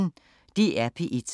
DR P1